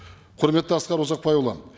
құрметті асқар ұзақбайұлы